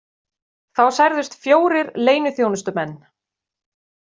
Þá særðust fjórir leyniþjónustumenn